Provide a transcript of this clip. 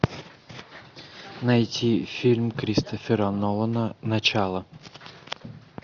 найти фильм кристофера нолана начало